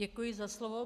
Děkuji za slovo.